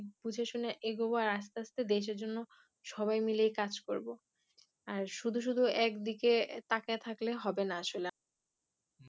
বুঝে শুনে এগোবে আসতে আসতে দেশের জন্য সবাই মিলে কাজ করবো আর শুধু শুধু একদিকে তাকায়ে থাকলে হবে না আসলে